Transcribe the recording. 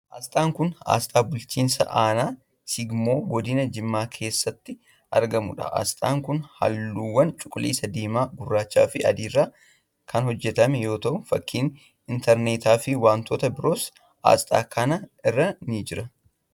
Asxaan kun asxaa bulchiinsa aanaa Sigimoo godina Jimmaa keessatti argamuu dha. Asxaan kun haalluuwwan cuquliisa, diimaa gurraacha fi adii irraa kan hojjatame yoo ta'u, fakkiin intarneetaa fi wantoota biroos asxaa kana irra ni jira.